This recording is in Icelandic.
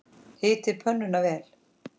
Hitið pönnuna vel.